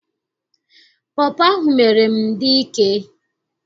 Pọpọ ahụ mere m dị ike.